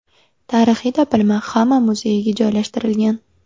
Tarixiy topilma Xama muzeyiga joylashtirilgan.